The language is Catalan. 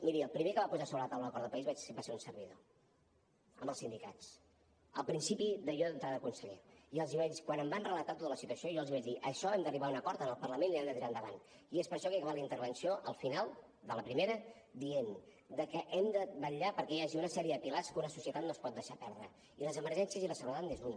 miri el primer que va posar sobre la taula l’acord de país va ser un servidor amb els sindicats al principi de jo entrar de conseller i quan em van relatar tota la situació jo els vaig dir en això hem d’arribar a un acord en el parlament i l’hem de tirar endavant i és per això que he acabat la intervenció al final de la primera dient que hem de vetllar perquè hi hagi una sèrie de pilars que una societat no es pot deixar perdre i les emergències i la seguretat n’és un